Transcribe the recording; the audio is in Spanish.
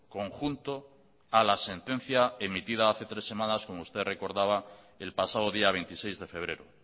conjunto a la sentencia emitida hace tres semanas como usted recordaba el pasado día veintiséis de febrero